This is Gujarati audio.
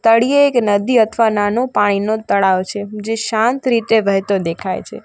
તળિયે એક નદી અથવા નાનું પાણીનો તળાવ છે જે શાંત રીતે વહેતો દેખાય છે.